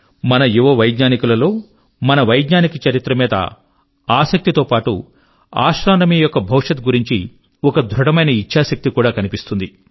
మన యువ వైజ్ఞానికుల లో మన వైజ్ఞానిక చరిత్ర మీద ఆసక్తితో పాటు ఆస్ట్రోనమీ యొక్క భవిష్యత్ గురించి ఒక దృఢమైన ఇచ్ఛాశక్తి కూడా కనిపిస్తుంది